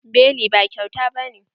Beli ba kyauta bane.